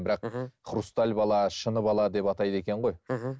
бірақ мхм хрусталь бала шыны бала деп атайды екен ғой мхм